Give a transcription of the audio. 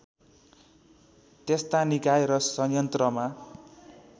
त्यस्ता निकाय र संयन्त्रमा